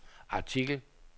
artikel